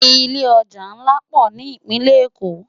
Ilé òjá nlá pò ni Ipinlè Ékó